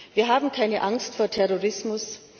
Wir haben keine Angst vor Terrorismus!.